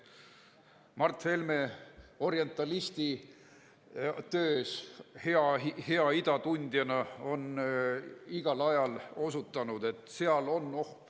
Mart Helme oma orientalistitöös ja hea ida tundjana on igal ajal osutanud, et seal on oht.